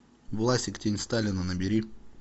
власик тень сталина набери